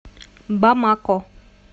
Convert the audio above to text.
бамако